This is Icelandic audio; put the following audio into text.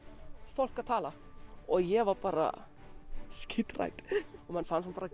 fólk að tala ég var bara skíthrædd og fann bara